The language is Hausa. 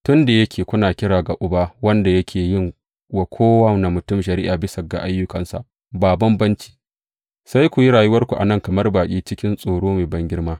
Tun da yake kuna kira ga Uba wanda yake yin wa kowane mutum shari’a bisa ga ayyukansa ba bambanci, sai ku yi rayuwarku a nan kamar baƙi cikin tsoro mai bangirma.